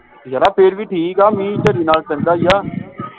ਯਾਰ ਆਹ ਫੇਰ ਵਿਵ ਠੀਕ ਆ ਮੀਂਹ ਝੜੀ ਨਾਲੋਂ ਚੰਗਾ ਈ ਆ